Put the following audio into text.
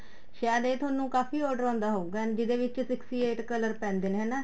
ਸਾਇਦ ਇਹ ਤੁਹਾਨੂੰ ਕਾਫ਼ੀ order ਆਉਦਾ ਹਉਗਾ and ਜਿਹਦੇ ਵਿੱਚ sixty eight color ਪੈਂਦੇ ਨੇ ਹਨਾ